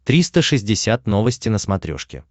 триста шестьдесят новости на смотрешке